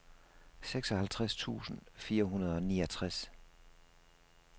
seksoghalvtreds tusind fire hundrede og niogtres